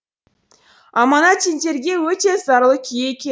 аманат сендерге өте зарлы күй екен